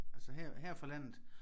Altså her her fra landet